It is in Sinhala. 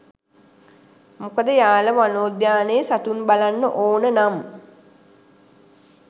මොකද යාල වනෝද්‍යානයේ සතුන් බලන්න ඕන නම්